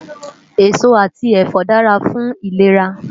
Esó ati ẹfọ dàrá fún ilérá